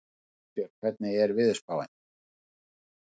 Kristbjörg, hvernig er veðurspáin?